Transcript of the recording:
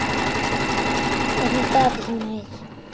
En ég gat ekki meir.